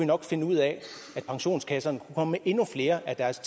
nok finde ud af at pensionskasserne kom med endnu mere af deres